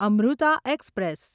Amrita express